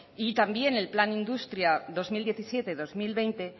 y también el plan industria dos mil diecisiete dos mil veinte